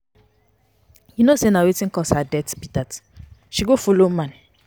You know no say na wetin cause her death be dat. She go follow man.